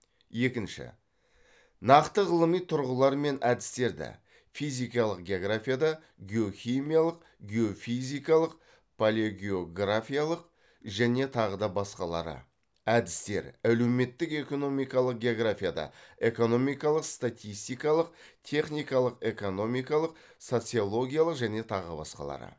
екінші нақты ғылыми тұрғылар мен әдістерді